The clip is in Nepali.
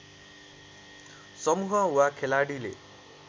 समूह वा खेलाडीले